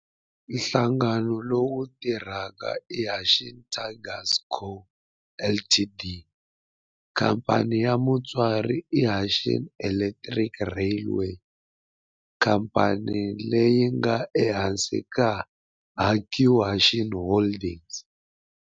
Nhlangano lowu tirhaka i Hanshin Tigers Co., Ltd. Khamphani ya mutswari i Hanshin Electric Railway, khamphani leyi nga ehansi ka Hankyu Hanshin Holdings.